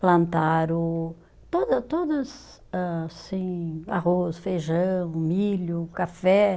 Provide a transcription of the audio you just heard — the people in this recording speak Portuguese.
Plantaram toda todas âh assim, arroz, feijão, milho, café.